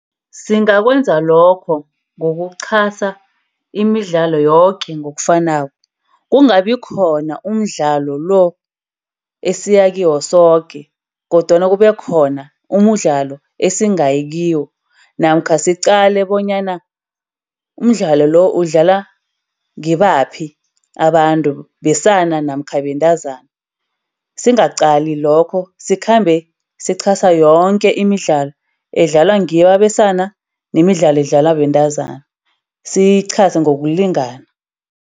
Singakwenza lokho ngokuchasa imidlalo yoke ngokufanako. Kungabi khona umdlalo lo esiyakiwo soke, kodwana kube khona umdlalo esingayi kiwo namkha siqale bonyana umdlalo lo udlalwa ngibaphi abantu. Besana namkha bentazana, singaqali lokho. Sikhambe sichasa yonke imidlalo edlalwa ngibo abesana nemidlalo edlalwa bentazana. Siyichase ngokulingana.